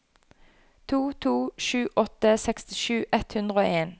to to sju åtte sekstisju ett hundre og en